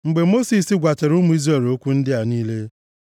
Mgbe Mosis gwachara ụmụ Izrel okwu ndị a niile,